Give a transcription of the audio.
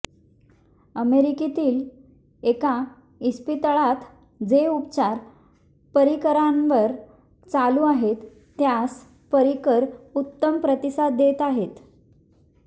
अमेरिकेतील एका इस्पितळात जे उपचार पर्रीकरांवर चालू आहेत त्यास पर्रीकर उत्तम प्रतिसाद देत आहेत